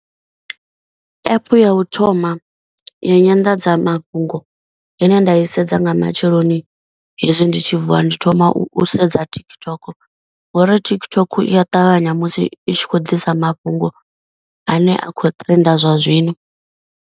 App ya u thoma ya nyanḓadzamafhungo ine nda i sedza nga matsheloni hezwi ndi tshi vuwa. Ndi thoma u sedza TikTok ngori TikTok iya ṱavhanya musi i tshi khou ḓisa mafhungo ane a kho trenda zwa zwino.